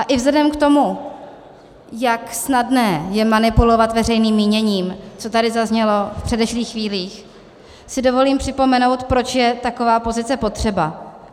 A i vzhledem k tomu, jak snadné je manipulovat veřejným míněním, co tady zaznělo v předešlých chvílích, si dovolím připomenout, proč je taková pozice potřeba.